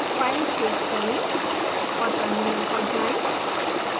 file save करें और terminal पर जाएं